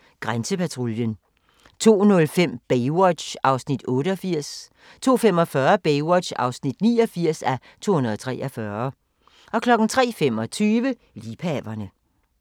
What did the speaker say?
01:30: Grænsepatruljen 02:05: Baywatch (88:243) 02:45: Baywatch (89:243) 03:25: Liebhaverne